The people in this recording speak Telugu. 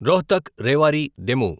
రోహ్తక్ రేవారి డెము